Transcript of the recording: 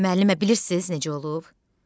Müəllimə bilirsiz necə olub?